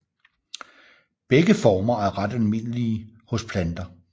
Begge former er ret almindelige hos planter